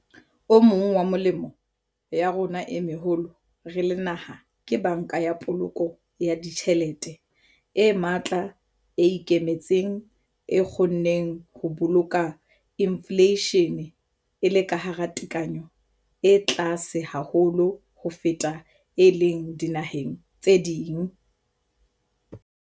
O mong wa melemo ya rona e meholo re le naha ke Banka ya Poloko ya Ditjhelete e matla, e ikemetseng, e kgonneng ho boloka infleishene e le ka hara tekanyo e tlase haholo ho feta e leng dinaheng tse ding.